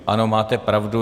Ano, máte pravdu.